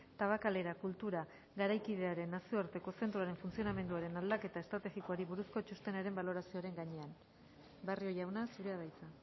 tabakalera kultura garaikidearen nazioarteko zentroaren funtzionamenduaren aldaketa estrategikoari buruzko txostenaren balorazioaren gainean barrio jauna zurea da hitza